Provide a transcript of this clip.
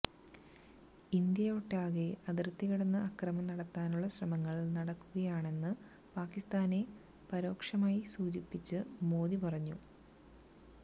ഇന്ത്യയൊട്ടാകെ അതിര്ത്തി കടന്ന് അക്രമം നടത്താനുളള ശ്രമങ്ങള് നടക്കുകയാണെന്ന് പാകിസ്ഥാനെ പരോക്ഷമായി സൂചിപ്പിച്ച് മോദി പറഞ്ഞു